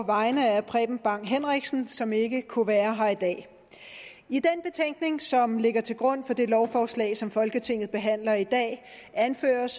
vegne af herre preben bang henriksen som ikke kunne være her i dag i den betænkning som ligger til grund for det lovforslag som folketinget behandler i dag anføres